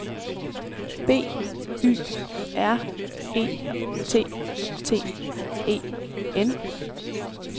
B Y R E T T E N